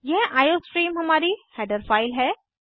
यह आईओस्ट्रीम हमारी header file है